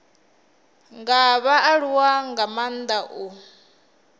nga vhaaluwa nga maanda u